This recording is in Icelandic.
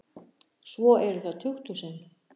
Svo eru það tukthúsin.